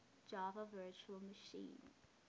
java virtual machine